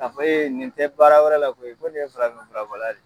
K'a fɔ ko nin tɛ baara wɛrɛ la, ko nin ye farafin furabɔla de ye.